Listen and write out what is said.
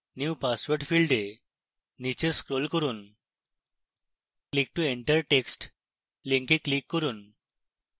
new password ফীল্ডে নীচে scroll করুন